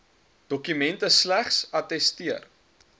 dokumente slegs attesteer